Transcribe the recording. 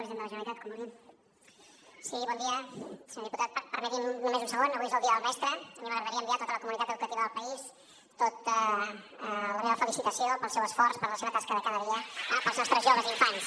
senyor diputat permeti’m només un segon avui és el dia del mestre a mi m’agradaria enviar a tota la comunitat educativa del país tota la meva felicitació pel seu esforç per la seva tasca de cada dia per als nostres joves i infants